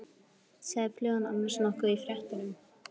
Sagði flugan annars nokkuð í fréttum?